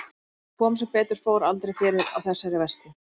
En það kom, sem betur fór, aldrei fyrir á þessari vertíð.